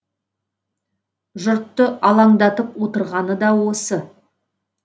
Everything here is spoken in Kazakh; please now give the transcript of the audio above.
жұртты алаңдатып отырғаны да осы